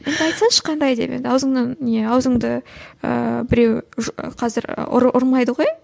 енді айтсаңшы қандай деп енді аузыңнан не аузыңды ыыы біреу қазір ұрмайды ғой